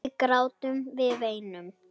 Við grátum, við veinum.